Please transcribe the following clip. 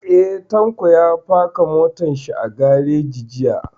Eh, Tanko ya faka motar shi a gareji jiya